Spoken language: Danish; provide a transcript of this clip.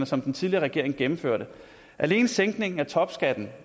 som den tidligere regering gennemførte alene sænkningen af topskatten